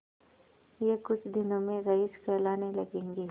यह कुछ दिनों में रईस कहलाने लगेंगे